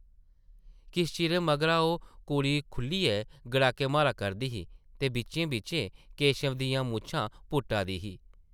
किश चिरे मगरा ओह् कुड़ी खुʼल्लियै गड़ाके मारा करदी ही ते बिच्चें-बिच्चें केशव दियां मुच्छां पुट्टा दी ही ।